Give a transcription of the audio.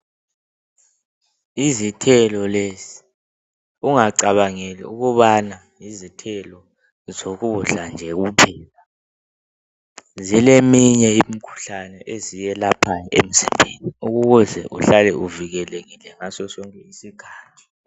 Yizithelo lezi. Ungacabangeli ukubana yizithelo zokudla kuphela. Zileziminye imikhuhlane eziyelaphayo emzimbeni. Ukuze uhlale uvikelekile, ngaso sonke isikhathi.